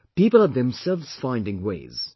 People are themselves finding ways